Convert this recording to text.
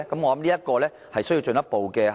我想這方面需要進一步檢視。